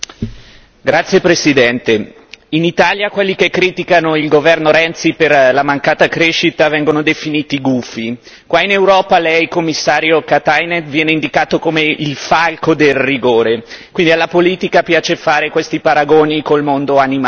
Signor Presidente, onorevoli colleghi, in Italia quelli che criticano il governo Renzi per la mancata crescita vengono definiti gufi. Qua in Europa Lei, Commissario Katainen, viene indicato come il falco del rigore. Quindi alla politica piace fare questi paragoni col mondo animale.